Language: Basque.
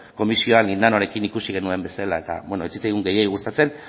komisioan lindanorekin ikusi genuen bezala eta ez zitzaigun gehiegi gustatzen